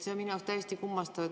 See on minu arust täiesti kummastav.